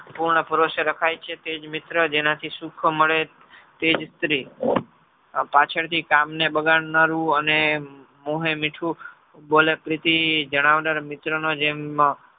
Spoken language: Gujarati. પૂર્ણપુરુષ રખાય છે તેજ મિત્ર જેનાથી સુખ મળે તેજ સ્ત્રી પાછળથી કામ ને બગાડ નારુ અને મોહે મીઠું બોલે પ્રીતિ જણાવદાર મિત્રનો જેમ